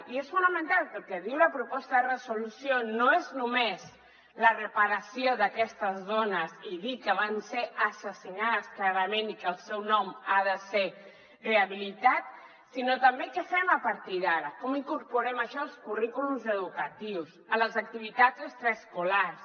i és fonamental que el que diu la proposta de resolució no és només la reparació d’aquestes dones i dir que van ser assassinades clarament i que el seu nom ha de ser rehabilitat sinó també què fem a partir d’ara com incorporem això als currículums educatius a les activitats extraescolars